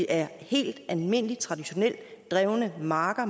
er helt almindelige traditionelt drevne marker